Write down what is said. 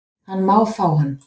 Hann má fá hann